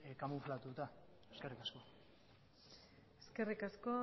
kamuflatuta eskerrik asko eskerrik asko